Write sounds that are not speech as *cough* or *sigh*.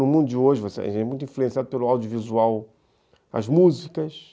No mundo de hoje, *unintelligible* a gente é muito influenciado pelo audiovisual, as músicas.